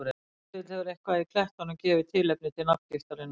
Ef til vill hefur eitthvað í klettunum gefið tilefni til nafngiftarinnar.